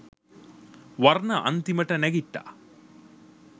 වර්ණ අන්තිමට නැගිට්ටා.